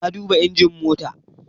Na duba injin mota